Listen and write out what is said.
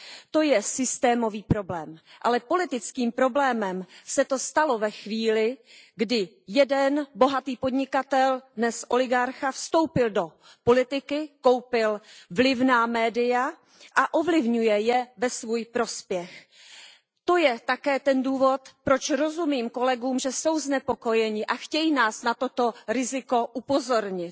To je systémový problém, ale politickým problémem se to stalo ve chvíli, kdy jeden bohatý podnikatel, dnes oligarcha, vstoupil do politiky, koupil vlivná média a ovlivňuje je ve svůj prospěch. To je také ten důvod, proč rozumím kolegům, že jsou znepokojeni a chtějí nás na toto riziko upozornit.